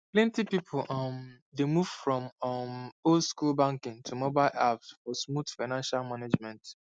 plenty people um dey move from um oldschool banking to mobile apps for smooth financial management